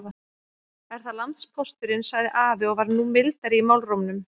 Er það landpósturinn, sagði afi og var nú mildari í málrómnum.